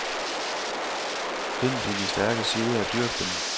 Find dine stærke sider og dyrk dem.